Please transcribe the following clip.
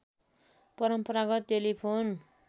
परम्परागत टेलिफोन